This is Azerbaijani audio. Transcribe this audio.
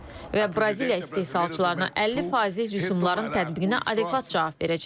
Və Braziliya istehsalçılarına 50 faizlik rüsumların tətbiqinə adekvat cavab verəcək.